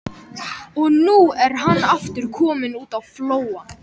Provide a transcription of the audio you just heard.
Og nú er hann aftur kominn út á flóann.